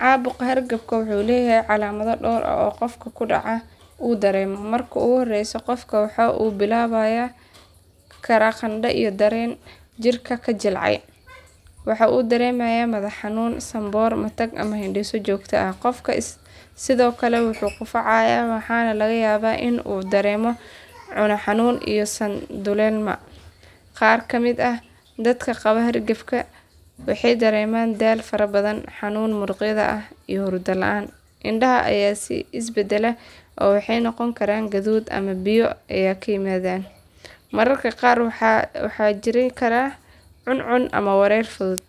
Caabuqa hargabka wuxuu leeyahay calaamado dhowr ah oo qofka ku dhaca uu dareemo. Marka ugu horreysa qofka waxaa ku bilaaban kara qandho iyo dareen jirka ka jilcay. Waxa uu dareemayaa madax xanuun, sanboor, matag ama hindhiso joogto ah. Qofka sidoo kale wuu qufacaa waxaana laga yaabaa in uu dareemo cune xanuun iyo san duleelma. Qaar ka mid ah dadka qaba hargabka waxay dareemaan daal fara badan, xanuun muruqyada ah, iyo hurdo la’aan. Indhaha ayaa is beddela oo waxay noqon karaan guduud ama biyo ka yimaadaan. Mararka qaar waxaa jiri kara cun cun ama wareer fudud.